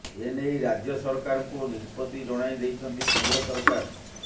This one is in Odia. ଏନେଇ ରାଜ୍ୟ ସରକାରଙ୍କୁ ନିଷ୍ପତ୍ତି ଜଣାଇ ଦେଇଛନ୍ତି କେନ୍ଦ୍ର ସରକାର